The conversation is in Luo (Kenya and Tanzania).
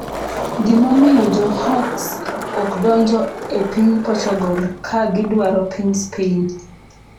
Gimomiyo jo hawks ok donjo e piny Portugal ka gidwaro piny Spain